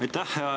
Aitäh!